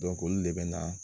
olu de bɛ na